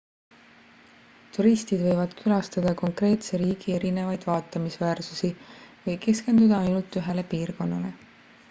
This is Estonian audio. turistid võivad külastada konkreetse riigi erinevaid vaatamisväärsusi või keskenduda ainult ühele piirkonnale